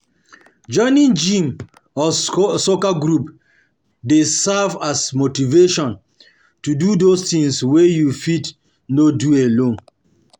Joining gym or soccer group dey serve as motivation to do those things wey you fit no do alone